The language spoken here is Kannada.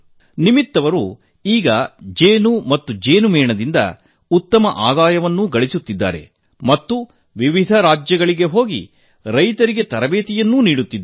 ನಿಮಿತ್ ಜಿ ಇದೀಗ ಜೇನು ಮತ್ತು ಜೇನಿನ ಮೇಣದಿಂದ ಉತ್ತಮ ಆದಾಯ ಗಳಿಸುತ್ತಿದ್ದಾರೆ ಮತ್ತು ವಿವಿಧ ರಾಜ್ಯಗಳಿಗೆ ಹೋಗಿ ರೈತರಿಗೆ ತರಬೇತಿ ನೀಡುತ್ತಿದ್ದಾರೆ